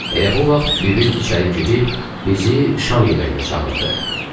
Elə bu vaxt bibim içəri girib bizi şam yeməyinə çağırdı.